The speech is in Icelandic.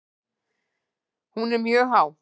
Hún er mjög há.